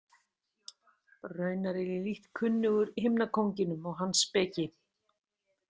Raunar er ég lítt kunnugur himnakónginum og hans speki.